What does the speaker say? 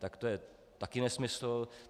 Tak to je taky nesmysl.